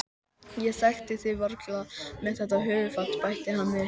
Ég þekkti þig varla með þetta höfuðfat- bætti hann við.